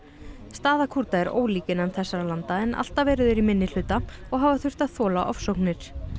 staða Kúrda er ólík innan þessara landa en alltaf eru þeir í minnihluta og hafa þurft að þola ofsóknir